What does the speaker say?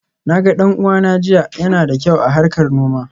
Na ga dan uwanta jiya, yana da kyau a harkar noma.